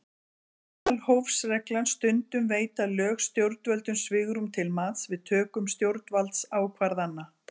Meðalhófsreglan Stundum veita lög stjórnvöldum svigrúm til mats við töku stjórnvaldsákvarðana.